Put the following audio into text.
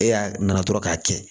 E y'a na dɔrɔn k'a kɛ